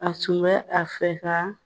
A tun bɛ a fɛ ka